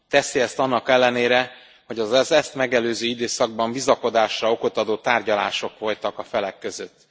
Teszi ezt annak ellenére, hogy az ezt megelőző időszakban bizakodásra okot adó tárgyalások folytak a felek között.